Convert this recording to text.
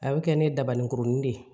A bɛ kɛ ne dabaninkurunin de ye